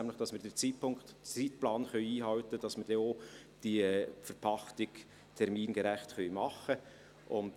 – Nämlich, dass wir den Zeitplan einhalten können, sodass wir diese Verpachtung dann auch termingerecht machen können.